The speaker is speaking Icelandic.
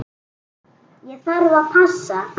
Ég þarf að passa.